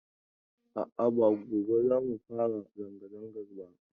A'a, ba gobe za mu fara zanga-zangar ba.